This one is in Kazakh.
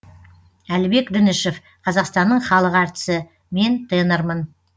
әлібек дінішев қазақстанның халық әртісі мен тенормын